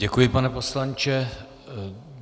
Děkuji, pane poslanče.